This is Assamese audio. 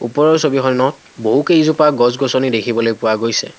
ওপৰৰ ছবিখনত বহুকেইজোপা গছ-গছনি দেখিবলৈ পোৱা গৈছে।